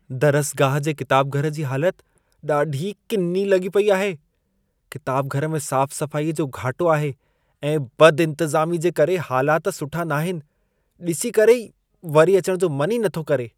दरसगाह जे किताबघरु जी हालति ॾाढी किनी लॻी पेई आहे। किताबघरु में साफ़-सफ़ाई जो घाटो आहे ऐं बदि-इंतिज़ामी जे करे हालाति सुठा नाहिनि। डि॒सी करे वरी अचणु जो मन ई नथो करे।